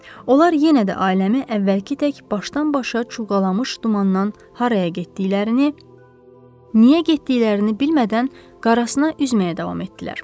Onlar yenə də ailəmi əvvəlki tək başdan-başa çulğalamış dumandan haraya getdiklərini, niyə getdiklərini bilmədən qarasına üzməyə davam etdilər.